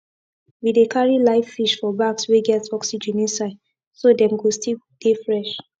we dey carry live fish for bags wey get oxygen inside so dem go still dey fresh